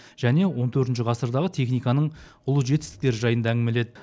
және он төртінші ғасырдағы техниканың ұлы жетістіктері жайында әңгімеледі